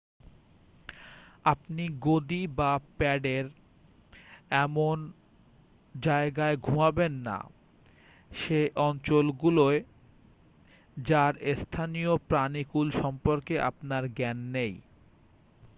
আপনি গদি বা প্যাডের ওপর এমন জায়গায় ঘুমাবেন না সে অঞ্চলগুলোয় যার স্থানীয় প্রানীকুল সম্পর্কে আপনার জ্ঞান নেই